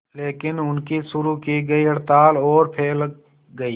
लेकिन उनकी शुरू की गई हड़ताल और फैल गई